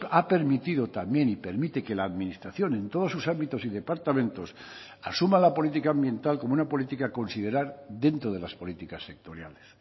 ha permitido también y permite que la administración en todos sus ámbitos y departamentos asuma la política ambiental como una política a considerar dentro de las políticas sectoriales